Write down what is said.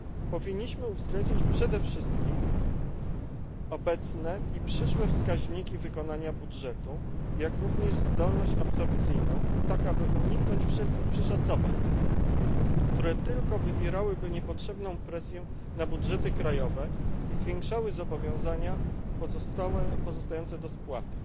Powinniśmy uwzględnić przede wszystkim obecne i przyszłe wskaźniki wykonania budżetu, jak również zdolność absorpcyjną tak, aby uniknąć wszelkich przeszacowań, które tylko wywierałyby niepotrzebną presję na budżety krajowe i zwiększały zobowiązania pozostające do spłaty.